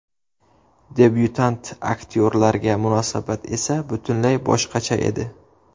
Debyutant aktyorlarga munosabat esa butunlay boshqacha edi.